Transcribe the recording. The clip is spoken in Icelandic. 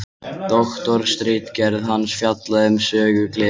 doktorsritgerð hans fjallaði um sögu geðveikinnar